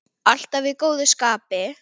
Alltaf í góðu skapi.